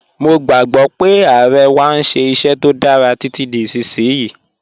Mọ̀ gbogbo pe Aare wà n ṣẹ iṣẹ̀ tó dára titi di isisiyi.